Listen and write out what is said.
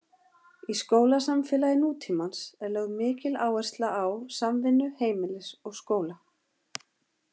Í skólasamfélagi nútímans er lögð mikil áhersla á samvinnu heimilis og skóla.